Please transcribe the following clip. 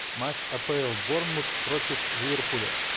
матч апл борнмут против ливерпуля